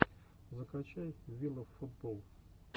закачай виловфутболл